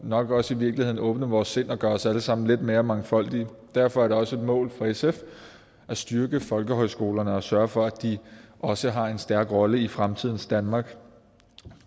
og nok også i virkeligheden åbne vores sind og gøre os alle sammen lidt mere mangfoldige derfor er det også et mål for sf at styrke folkehøjskolerne og sørge for at de også har en stærk rolle i fremtidens danmark